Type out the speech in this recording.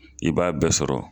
I b'a bɛɛ sɔrɔ